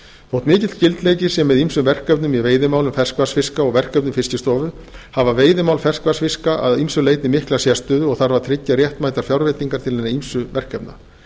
þótt mikill skyldleiki sé með ýmsum verkefnum í veiðimálum ferskvatnsfiska og verkefnum fiskistofu hafa veiðimál ferskvatnsfiska að ýmsu leyti mikla sérstöðu og tryggja þarf réttmætar fjárveitingar til hinna ýmsu verkefna